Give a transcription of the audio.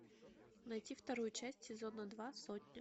найти вторую часть сезона два сотня